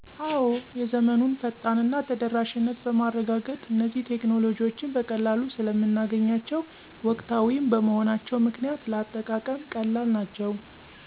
አዎ የዘመኑን ፈጣን እና ተደራሽነት በማረጋገጥ እነዚህ ቴክኖሎጂዎችን በቀላሉ ስለምናገኛቸው ወቅታዊም በመሆናቸው ምክንያት ለአጠቃቀም ቀላል ናቸው